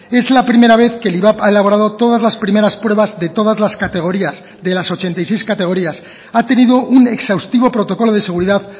es la primera vez que el ivap ha elaborado todas las primeras pruebas de todas las categorías de las ochenta y seis categorías ha tenido un exhaustivo protocolo de seguridad